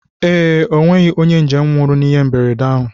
Ee, ọnweghị onye njem nwụrụ na ịhe mberede ahụ